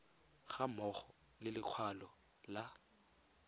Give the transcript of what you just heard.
ga mmogo le lekwalo la